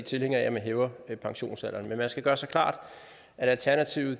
tilhængere af at man hæver pensionsalderen men man skal gøre sig klart at alternativet